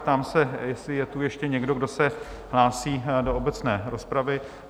Ptám se, jestli je tu ještě někdo, kdo se hlásí do obecné rozpravy?